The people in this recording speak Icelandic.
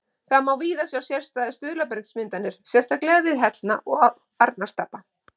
Þar má víða sjá sérstæðar stuðlabergsmyndanir, sérstaklega við Hellna og Arnarstapa.